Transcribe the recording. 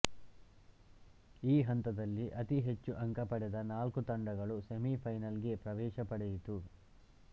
ಈ ಹಂತದಲ್ಲಿ ಅತಿ ಹೆಚ್ಚು ಅಂಕ ಪಡೆದ ನಾಲ್ಕು ತಂಡಗಳು ಸೆಮಿ ಫೈನಲ್ ಗೆ ಪ್ರವೇಶ ಪಡೆಯಿತು